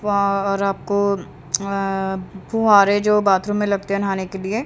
वा और आप को अअ फूव्वारे जो बाथरूम में लगते है नहाने के लिए।